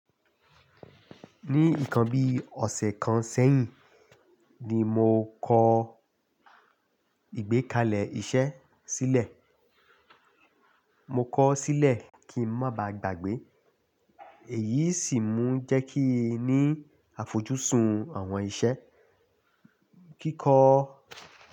Ní nkan bí ọ̀sẹ̀ kan sẹ́yìn ni mo kọ́ ìgbékalẹ̀ iṣẹ́ sílẹ̀. Mo kọ ọ́ sílẹ̀ kí ń má ba à gbàgbé. Èyí sì mú jẹ́ kí n ní àfojúsùn àwọn iṣẹ́ kíkọ.